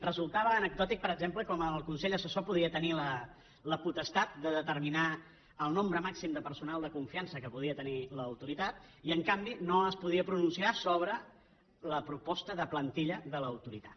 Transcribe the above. resultava anecdòtic per exemple com el consell assessor podia tenir la potestat de determinar el nombre màxim de personal de confiança que podia tenir l’autoritat i en canvi no es podia pronunciar sobre la proposta de plantilla de l’autoritat